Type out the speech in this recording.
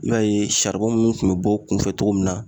I b'a ye kun bɛ bɔ kunfɛ cogo min na